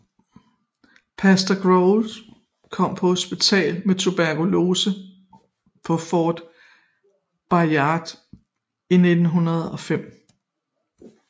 Pastor Groves kom på hospitalet med tuberkulose på Fort Bayard i 1905